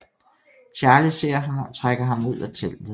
Charlie ser ham og trækker ham ud af teltet